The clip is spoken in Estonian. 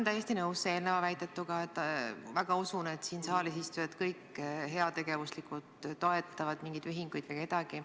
Ma olen eelkõnelejaga täiesti nõus ja ma väga usun, et kõik siin saalis istujad toetavad heategevuslikult mingeid ühinguid või kedagi.